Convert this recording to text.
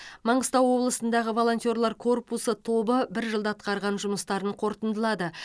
маңғыстау облысындағы волонтерлар корпусы тобы бір жылда атқарған жұмыстарын қорытындылады